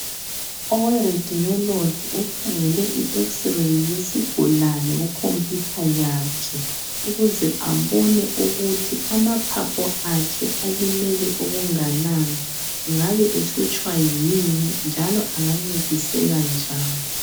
Owe radiology ukhangele i x-ray yesigulane kukhompiyutha yakhe ukuze abone ukuthi amaphaphu akhe alimele okunganani, engabe ehlutshwa yini njalo engancediseka njani?